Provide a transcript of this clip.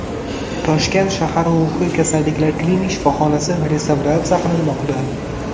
Toshkent shahar ruhiy kasalliklar klinik shifoxonasi restavratsiya qilinmoqda.